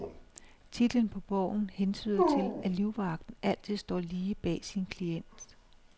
Titlen på bogen hentyder til, at livvagten altid står lige bag sin klient.